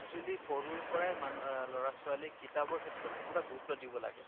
চুৱেলী সৰুৰে পৰাই মানু আ লʼৰা ছোৱালীক কিতাপৰ ক্ষেত্ৰত পুৰা গুৰুত্ব দিব লাগে ।